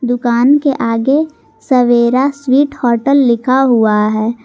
दुकान के आगे सवेरा स्वीट होटल लिखा हुआ हैं।